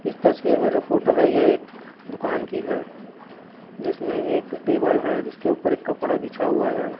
इस तस्वीर मे जो फोटो है ये एक दुकान की है जिसमे एक टेबल है जिसके ऊपर एक कपड़ा बिछा हुआ है।